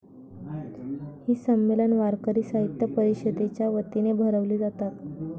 ही संमेलन वारकरी साहित्य परिषदेच्या वतीने भरवली जातात.